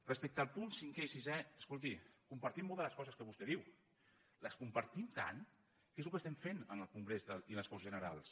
respecte als punts cinquè i sisè escolti compartim molt de les coses que vostè diu les compartim tant que és el que estem fent en el congrés i en les corts generals